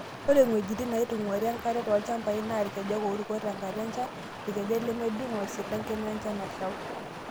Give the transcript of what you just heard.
Ore ng'wejitin naitung'wari enkare tolchampai na irkejek oruko tenkata enchan, irkejek lemedung'o, isilangen wenchan nashau.